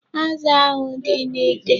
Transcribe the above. Azụ ahụ dị n'ite.